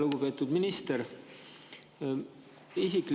Lugupeetud minister!